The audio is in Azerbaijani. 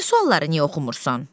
O biri sualları niyə oxumursan?